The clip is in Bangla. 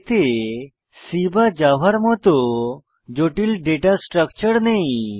এতে C বা জাভা এর মত জটিল ডেটা স্ট্রাকচার নেই